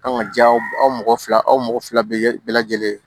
An ka ja aw mɔgɔ fila aw mɔgɔ fila bɛ lajɛlen